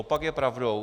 Opak je pravdou.